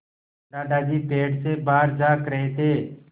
दादाजी पेड़ से बाहर झाँक रहे थे